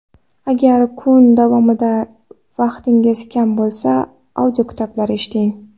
Agar kun davomida vaqtingiz kam bo‘lsa, audiokitoblar eshiting.